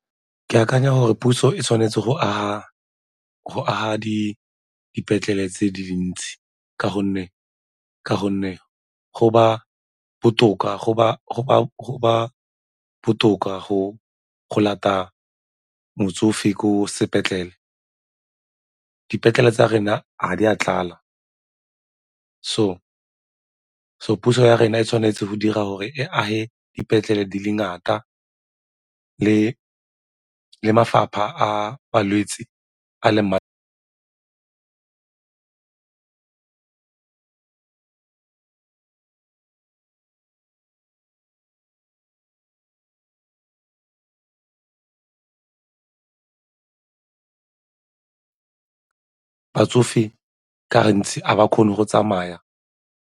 Ke akanya gore puso e tshwanetse go aga dipetlele tse dintsi ka gonne go ba botoka go lata motsofe ko sepetlele, dipetlele tsa rena ga di a tlala so puso ya rona e tshwanetse go dira gore e age dipetlele di le ngata le ka mafapha a balwetse a leng batsofe ka gantsi a ba kgone go tsamaya.